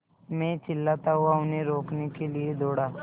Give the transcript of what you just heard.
मैं चिल्लाता हुआ उन्हें रोकने के लिए दौड़ा